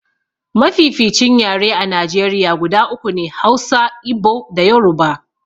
Mafificin yare a Najeriya guda uku ne, Hausa, Igbo da Yoruba.